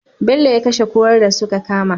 Bello ya kashe kurar da suka kama